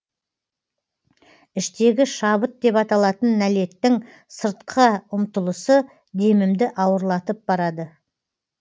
іштегі шабыт деп аталатын нәлеттің сыртқа ұмтылысы демімді ауырлатып барады